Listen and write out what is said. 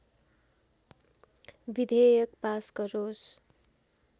विधेयक पास गरोस्